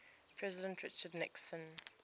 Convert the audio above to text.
president richard nixon